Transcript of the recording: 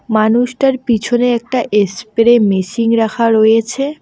মানুষটার পিছনে একটা এসপ্রে মেশিন রাখা রয়েছে।